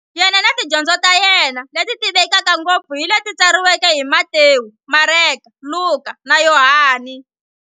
Yena na tidyondzo ta yena, leti tivekaka ngopfu hi leti tsariweke hi Matewu, Mareka, Luka, na Yohani.